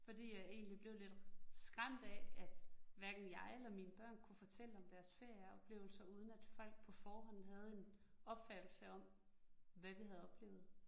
Fordi jeg egentlig blev lidt skræmt af, at hverken jeg eller mine børn kunne fortælle om deres ferieoplevelser uden, at folk på forhånd havde en opfattelse om, hvad vi havde oplevet